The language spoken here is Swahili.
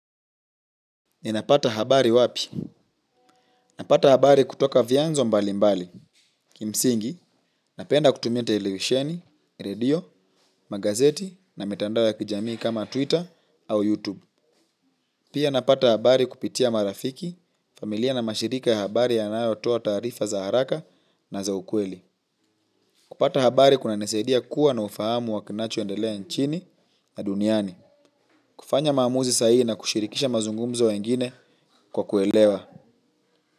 Ninapata habari wapi? Napata habari kutoka vyanzo mbali mbali. Kimsingi napenda kutumia televisheni redio magazeti na mitandao ya kijamii kama twitter au YouTube. Pia napata habari kupitia marafiki, familia na mashirika ya habari yanayo toa taarifa za haraka na za ukweli. Kupata habari kunanisaidia kua na ufahamu wa kinacho endelea nchini na duniani. Kufanya maamuzi sahihi na kushirikisha mazungumzo wengine kwa kuelewa.